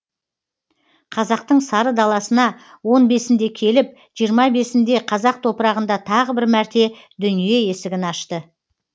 қазақтың сары даласына он бесінде келіп жиырма бесінде қазақ топырағында тағы бір мәрте дүние есігін ашты